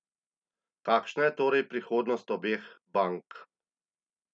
Kakšna je torej prihodnost obeh bank?